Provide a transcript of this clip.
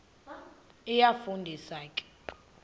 iyafu ndisa ke